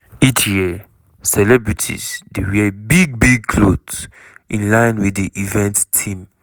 each year celebrities dey wear big-big clothes in line wit di event theme.